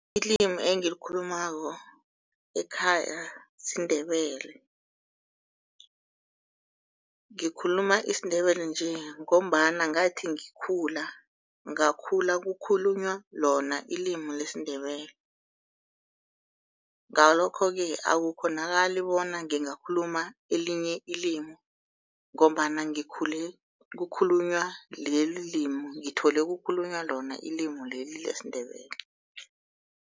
Ilimi engilikhulumako ekhaya siNdebele. Ngikhuluma isiNdebele nje ngombana ngathi ngikhula ngakhula kukhulunywa lona ilimi lesiNdebele. Ngalokho-ke akukghonakali bona ngingakhuluma elinye ilimi ngombana ngikhule kukhulunywa leli limi, ngithole kukhulunywa lona leli limi lesiNdebele.